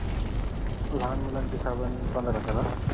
लहान मुलांची साबण पंधरा करा